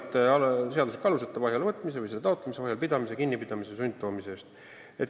Jutt on teadvalt seadusliku aluseta vahi alla võtmisest või selle taotlemisest, vahi all pidamisest, kinnipidamisest või sundtoomisest.